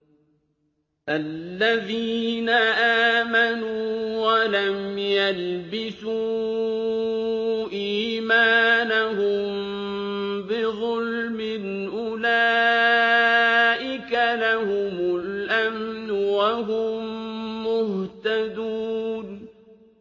الَّذِينَ آمَنُوا وَلَمْ يَلْبِسُوا إِيمَانَهُم بِظُلْمٍ أُولَٰئِكَ لَهُمُ الْأَمْنُ وَهُم مُّهْتَدُونَ